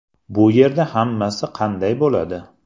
Bu yerda hammasi qanday bo‘ladi?